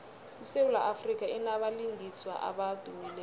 isewula afrika inabalingiswa abadumileko